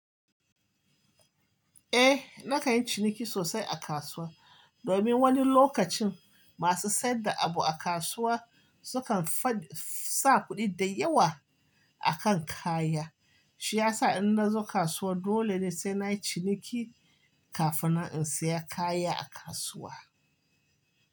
Eh, na kan yi ciniki sosai a kasuwa. Domin wani lokacin masu saida abu a kasuwa sukan sa kuɗi da yawa a kan kaya. Shi ya sa in na zo kasuwa dole ne sai na yi ciniki kafin in saya kaya a kasuwa.